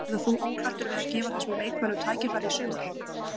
Verður þú óhræddur við að gefa þessum leikmönnum tækifæri í sumar?